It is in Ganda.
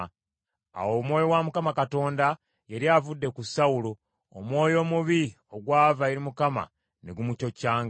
Awo Omwoyo wa Mukama Katonda yali avudde ku Sawulo, omwoyo omubi ogwava eri Mukama ne gumucoccanga.